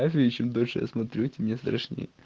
чем дольше я смотрю тем мне страшно